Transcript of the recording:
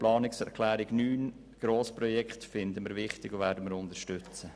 Die Planungserklärung 9 zu den Grossprojekten finden wir wichtig und werden sie unterstützen.